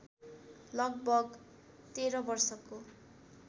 लगभग १३ वर्षको